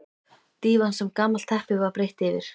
Dívan sem gamalt teppi var breitt yfir.